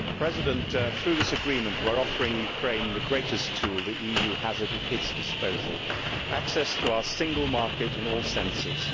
Mr President, through this agreement we are offering Ukraine the greatest tool the EU has at its disposal access to our single market in all senses.